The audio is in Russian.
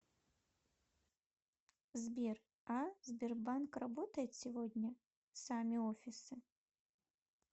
сбер а сбербанк работает сегодня сами офисы